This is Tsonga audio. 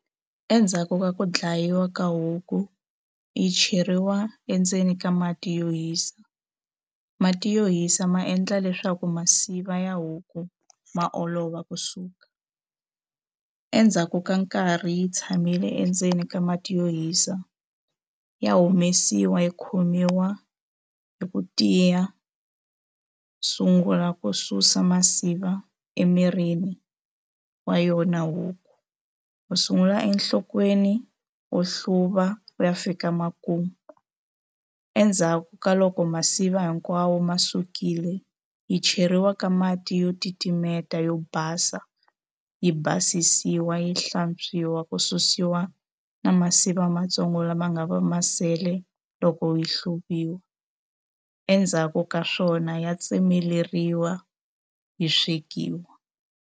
Endzhaku ka ku dlayiwa ka huku yi cheriwa endzeni ka mati yo hisa mati yo hisa ma endla leswaku masiva ya huku ma olova kusuka endzhaku ka nkarhi yi tshamile endzeni ka mati yo hisa ya humesiwa yi khomiwa hi ku tiya sungula ku susa masiva emirini wa yona huku u sungula enhlokweni u hluva ku ya fika makumu endzhaku ka loko masiva hinkwawo ma sukile yi cheriwa ka mati yo titimeta yo basa yi basisiwa yi hlantswiwa ku susiwa na masivi va matsongo lama nga va ma sele loko yi hluvisiwa endzhaku ka swona ya tsemeleriwa yi swekiwa.